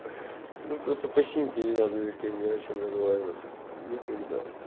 ну просто по синьке не надо ни с кем не о чем договариваться никогда